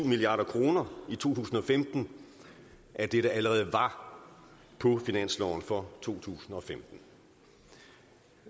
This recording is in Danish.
milliard kroner i to tusind og femten af det der allerede var på finansloven for to tusind og femten